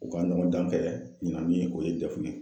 U ka ɲɔgɔndan kɛ ɲina min o ye dɛfu ye.